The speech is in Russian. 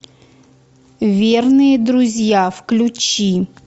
верные друзья включи